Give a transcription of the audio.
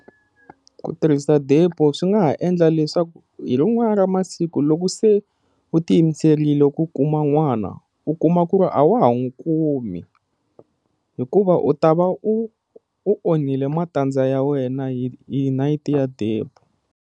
Ku tirhisa DEPO swi nga ha endla leswaku hi rin'wana ra masiku loko se u ti yimiserile ku kuma n'wana u kuma ku ri a wa ha n'wi kumi hikuva u ta va u u onhile matandza ya wena hi hi nayiti ya DEPO.